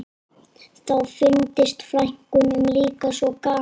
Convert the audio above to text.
Þá fyndist frænkunum líka svo gaman